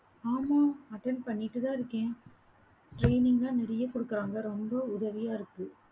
ஆமா, attend பண்ணிட்டுதான் இருக்கேன். training லாம் நிறைய கொடுக்குறாங்க, ரொம்ப உதவியா இருக்கு